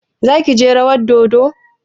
Zaki je rawar dodon?